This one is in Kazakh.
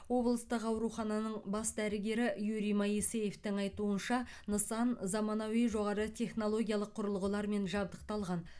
облыстық аурухананың бас дәрігері юрий моисеевтың айтуынша нысан заманауи жоғары технологиялық құрылғылармен жабдықталған